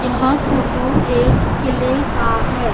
यह फोटो एक किले का है।